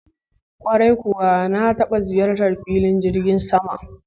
Kwarai kuwa na taba kai ziyara filin jirgin sama.